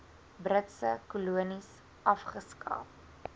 britse kolonies afgeskaf